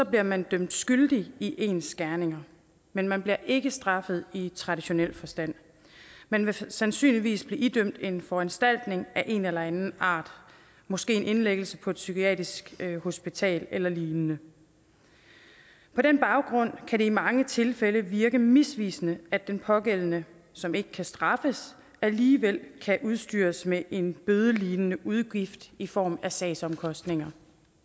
bliver man dømt skyldig i ens gerninger men man bliver ikke straffet i traditionel forstand man vil sandsynligvis blive idømt en foranstaltning af en eller anden art måske en indlæggelse på et psykiatrisk hospital eller lignende på den baggrund kan det i mange tilfælde virke misvisende at den pågældende som ikke kan straffes alligevel kan udstyres med en bødelignende udgift i form af sagsomkostninger